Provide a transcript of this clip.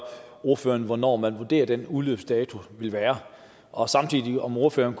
ordføreren hvornår man vurderer at den udløbsdato vil være og om ordføreren